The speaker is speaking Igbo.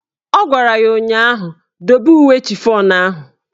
Ọ gwara ya ụnyaahụ "Dobe uwe chifọn ahụ"!